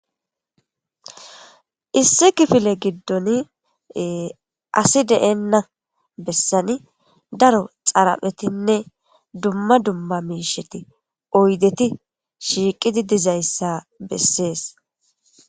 Issi kifile giddon asi deenna bessani daro xaraphetinne dumma dumma miisheti oydeti shiiqidi dizayssa bessees.